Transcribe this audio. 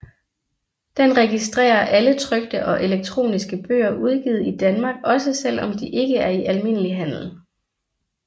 Den registrerer alle trykte og elektroniske bøger udgivet i Danmark også selv om de ikke er i almindelig handel